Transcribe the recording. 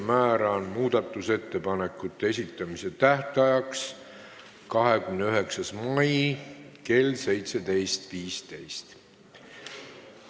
Määran muudatusettepanekute esitamise tähtajaks 29. mai kell 17.15.